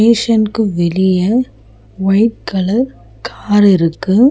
ஷ்னுக்கு வெளிய white colour car இருக்கு.